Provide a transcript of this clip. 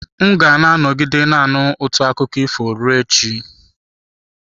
M ga-anọgide na-anụ ụtọ akụkọ ifo ruo echi.